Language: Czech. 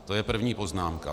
To je první poznámka.